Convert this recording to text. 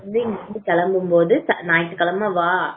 இங்க இருந்து கிளம்பும்போது ஞாயிற்றுக்கிழமை வா